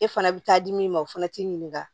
E fana bɛ taa di min ma o fana t'i ɲininka